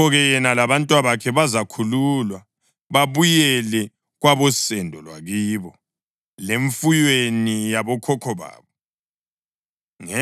Lapho-ke yena labantwabakhe bazakhululwa, babuyele kwabosendo lwakibo lemfuyweni yabokhokho babo.